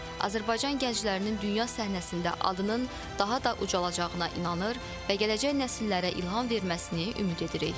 Azərbaycan gənclərinin dünya səhnəsində adının daha da ucalacağına inanır və gələcək nəsillərə ilham verməsini ümid edirik.